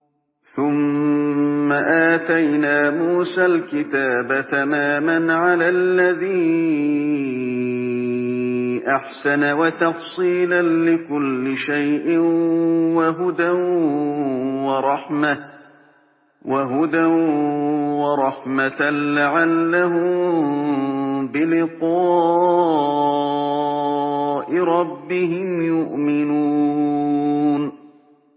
ثُمَّ آتَيْنَا مُوسَى الْكِتَابَ تَمَامًا عَلَى الَّذِي أَحْسَنَ وَتَفْصِيلًا لِّكُلِّ شَيْءٍ وَهُدًى وَرَحْمَةً لَّعَلَّهُم بِلِقَاءِ رَبِّهِمْ يُؤْمِنُونَ